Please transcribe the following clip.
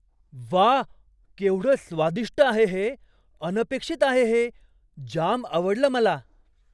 व्वा! केवढं स्वादिष्ट आहे हे, अनपेक्षित आहे हे. जाम आवडलं मला.